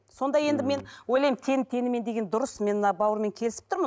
сонда енді мен ойлаймын тең теңімен деген дұрыс мен мына бауырыммен келісіп тұрмын